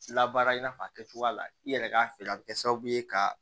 Labaara in n'a fɔ a kɛcogoya la i yɛrɛ k'a feere a bɛ kɛ sababu ye ka